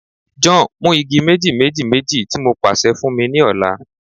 John, mu igi meji-meji-meji ti mo paṣẹ fun mi ni ọla